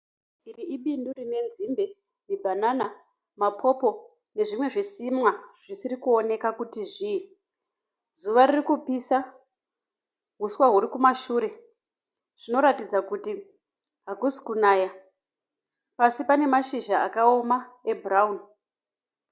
Iri ibundi rinenzimbe, mabhanana, mapopo nezvimwe zvirimwa zvisiri kuoneka kuti zvii, zuva ririkupisa, huswa hurikumashe zvinoratidza kuti hakusi kunaya, pasi panemashizha akoma ebhurauni.